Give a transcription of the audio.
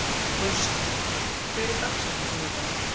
Gunnsa, hver er dagsetningin í dag?